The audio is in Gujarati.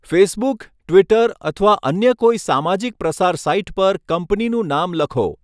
ફેસબુક, ટ્વિટર અથવા અન્ય કોઈ સામાજિક પ્રસાર સાઈટ પર કંપનીનું નામ લખો.